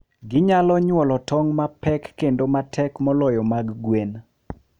Ginyalo nyuolo tong' mapek kendo matek moloyo mag gwen.